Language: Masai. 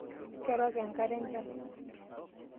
Kerok enkare enchan.